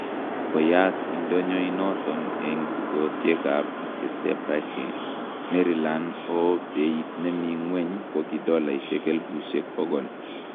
koyaak indonyo inaton en tukosiek ap Chesapeake , Maryland ooh peit nemi ngweny kogi $elipusiek pogol